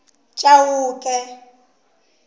chauke